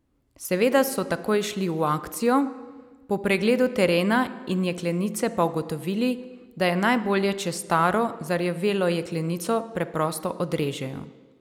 Seveda so takoj šli v akcijo, po pregledu terena in jeklenice pa ugotovili, da je najbolje, če staro, zarjavelo jeklenico preprosto odrežejo.